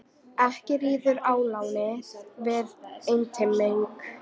Ekki ríður ólánið við einteyming.